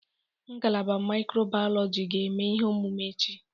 Ngalaba mikrobiyọlojị ga-eme ihe omume echi.